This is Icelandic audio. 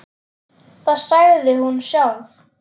Það sagði hún sjálf.